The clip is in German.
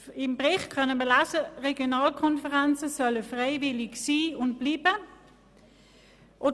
Im Bericht können wir lesen, dass Regionalkonferenzen freiwillig sein und bleiben sollen.